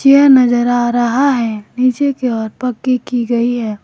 यह नजर आ रहा है पीछे की और पक्की की गई है।